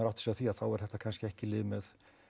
átta sig á því að þá er þetta kannski ekki lyfið með